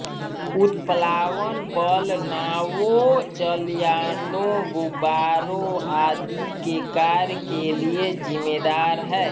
उत्प्लावन बल नावों जलयानों गुब्बारों आदि के कार्य के लिये जिम्मेदार है